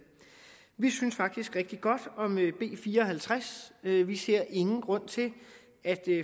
vi synes faktisk rigtig godt om b fire og halvtreds vi vi ser ingen grund til at